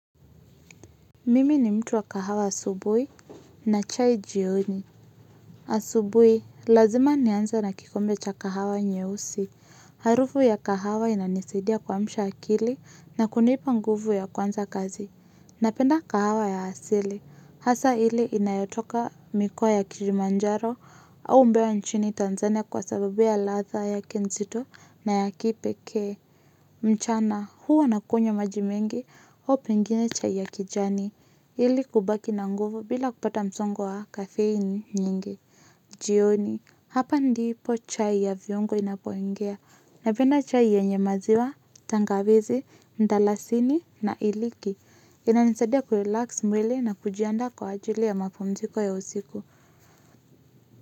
Mimi ni mtu wa kahawa asubui na chai jioni. Asubui, lazima nianze nakikombe cha kahawa nyeusi. Harufu ya kahawa inanisidia kuamsha akili na kunipa nguvu ya kuanza kazi. Napenda kahawa ya hasili. Hasa ile inayotoka mikoa ya Kilimanjaro au mbewa nchini Tanzania kwa sababu ya latha yake nzito na ya kipeke. Mchana, huwa nakunywaemaji mengi au pengine cha ya kijani. Ili kubaki na nguvu bila kupata msongo wa kafeini nyingi. Jioni, hapa ndipo chai ya viongo inapoingia. Napenda chai yanye maziwa, tangawizi, mdalasini na iliki. Inanisadia kurelax mwili na kujianda kwa ajili ya mapumziko ya usiku.